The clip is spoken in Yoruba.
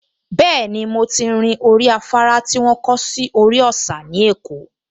Bẹ́ẹ̀ni, mo ti rin orí afárá tí wọ́n kọ́ sórí òsà ní Èkó